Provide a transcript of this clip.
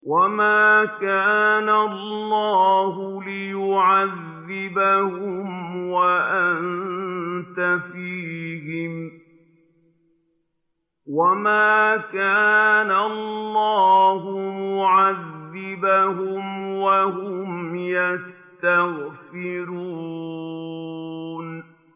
وَمَا كَانَ اللَّهُ لِيُعَذِّبَهُمْ وَأَنتَ فِيهِمْ ۚ وَمَا كَانَ اللَّهُ مُعَذِّبَهُمْ وَهُمْ يَسْتَغْفِرُونَ